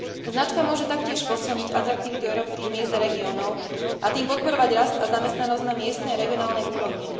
Značka môže taktiež posilniť atraktivitu európskych miest a regiónov a tým podporovať rast a zamestnanosť na miestnej a regionálnej úrovni.